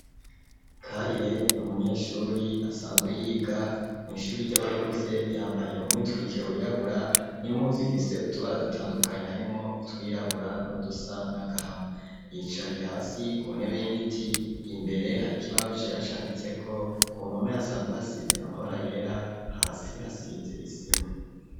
Karire ni umunyeshure asanzwe yiga mw'ishure ry'abakuze, yambaye umwitwikiro wirabura n'impuzu ifise utubara dutandukanye, harimwo utwirabura n'udusa n'agahama. Yicaye hasi ku ntebe y'igiti, imbere hari ikibaho cera canditseko, ku mpome hasanzwe hasize amabara yera, hasi hasize isima.